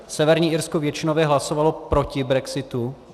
Severní Irsko většinově hlasovalo proti brexitu.